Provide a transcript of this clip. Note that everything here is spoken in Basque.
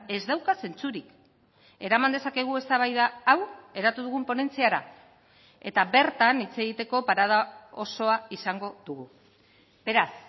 ez dauka zentsurik eraman dezakegu eztabaida hau eratu dugun ponentziara eta bertan hitz egiteko parada osoa izango dugu beraz